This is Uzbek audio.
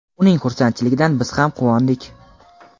uning xursandchiligidan biz ham quvondik.